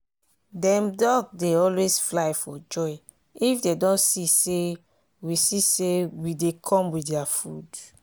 dem duck dey always fly for joy if dem don see say we see say we dey come with dia food.